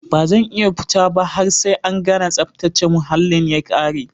Bazan iya futaba har sai an gana tsaftace muhallin ya kare.